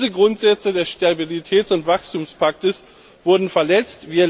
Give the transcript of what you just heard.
Diese Grundsätze des Stabilitäts und Wachstumspaktes wurden verletzt.